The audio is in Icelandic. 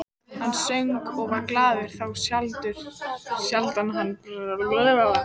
Hann söng og var glaður, þá sjaldan hann bragðaði vín.